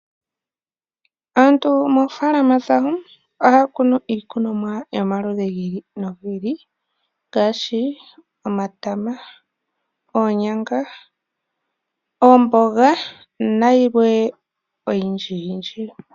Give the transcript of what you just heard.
Aantu moofaalama dhawo ohaya kunu iikunomwa yomaludhi gi ili nogi ili ngaashi :omatama , oonyanga ,oomboga nayilwe oyindjiyindji.